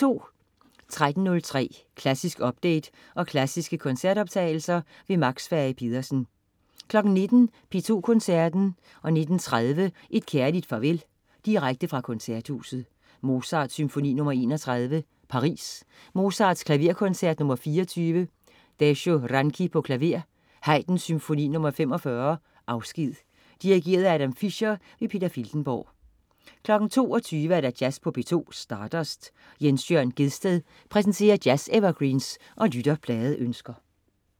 13.03 Klassisk update og klassiske koncertoptagelser. Max Fage-Pedersen 19.00 P2 Koncerten. 19.30 Et kærligt farvel, direkte fra Koncerthuset. Mozart: Symfoni nr. 31, Paris. Mozart: Klaverkoncert nr. 24. Dezsö Ranki, klaver. Haydn: Symfoni nr. 45, Afsked. Dirigent: Adam Fischer. Peter Filtenborg 22.00 Jazz på P2. Stardust. Jens Jørn Gjedsted præsenterer jazz-evergreens og lytterpladeønsker